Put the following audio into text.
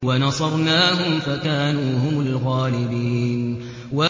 وَنَصَرْنَاهُمْ فَكَانُوا هُمُ الْغَالِبِينَ